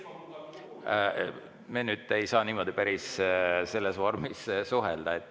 Me ei saa nüüd päris selles vormis suhelda.